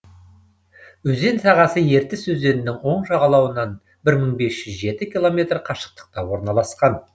өзен сағасы ертіс өзенінің оң жағалауынан бір мың бес жүз жеті километр қашықтықта орналасқан